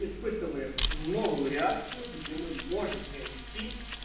если хочешь как бы новую реакцию где мы можем не уйти